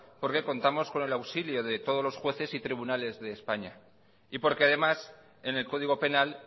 porque contamos con el auxilio de todos los jueves y tribunales de españa y porque además en el código penal